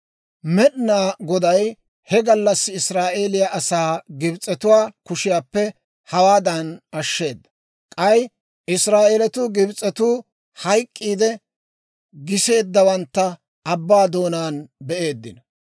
Med'inaa Goday he gallassi Israa'eeliyaa asaa Gibs'etuwaa kushiyaappe hawaadan ashsheeda. K'ay Israa'eeletuu Gibs'etuu hayk'k'iidde giseeddawantta abbaa doonaan be'eeddino.